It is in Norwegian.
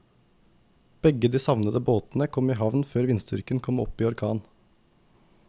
Begge de savnede båtene kom i havn før vindstyrken kom opp i orkan.